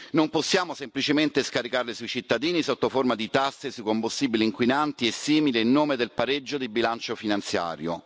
Non possiamo semplicemente scaricarle sui cittadini sotto forma di tasse sui combustibili inquinanti e simili in nome del pareggio di bilancio finanziario.